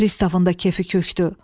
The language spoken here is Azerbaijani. Pristavın da kefi kökdü.